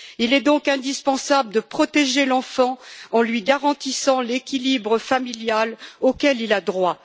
Il est donc indispensable de protéger l'enfant en lui garantissant l'équilibre familial auquel il a droit.